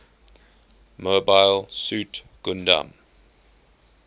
mobile suit gundam